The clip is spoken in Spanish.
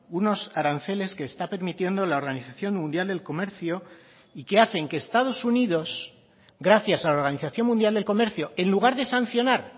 unos aranceles que está permitiendo la organización mundial del comercio y que hacen que estados unidos gracias a la organización mundial del comercio en lugar de sancionar